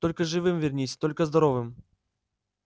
только живым вернись только здоровым